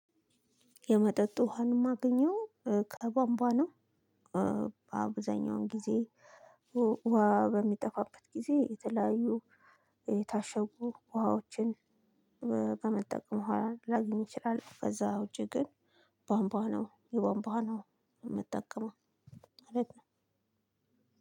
የመጠጥ ውሃን ማገኘው ከቧንቧ ነው። በአብዛኛውን ጊዜ ውሃ በሚጠፋበት ጊዜ የተለያዩ የታሸጉ ውሃዎችን በመጠቀም ውሃ ላገኝ እችላለሁ። ከዛ ውጪ ግን ቧንቧ ነው የቧንቧ ነው የምጠቀመው።